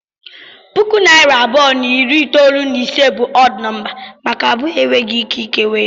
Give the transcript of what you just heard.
Puku na narị abụọ na iri itolu na ise bụ ọd nọmba maka abụọ enweghị ike ikewa ya.